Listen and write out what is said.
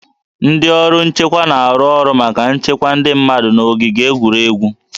Ndị ọrụ nchekwa na-arụ ọrụ maka nchekwa ndị mmadụ n'ogige egwuregwu